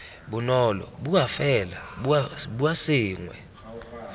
bonolo bua fela bua sengwe